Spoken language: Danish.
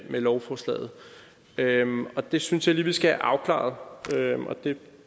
med lovforslaget og det synes jeg lige vi skal have afklaret jeg